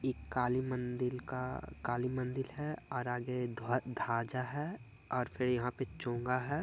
ये काली मंदिल का काली मंदिल है और आगे ध्व धाजा है और फिर यहाँ पे चोंगा है।